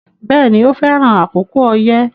Bẹ́ẹ̀ni, o fẹran àkókò oyẹ